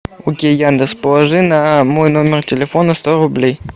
окей яндекс положи на мой номер телефона сто рублей